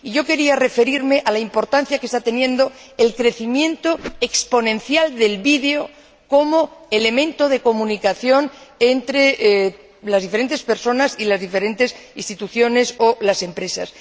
Y yo quería referirme a la importancia que está teniendo el crecimiento exponencial del vídeo como elemento de comunicación entre las diferentes personas y las diferentes instituciones o las empresas.